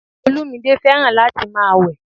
Olúmídé fẹ́ràn láti máa wẹ̀